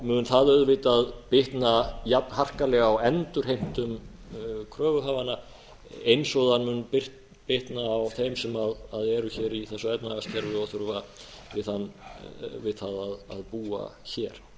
mun það auðvitað bitna jafn harkalega á endurheimtum kröfuhafanna eins og það mun bitna á þeim sem eru hér í þessu efnahagskerfi og þurfa við það að búa hér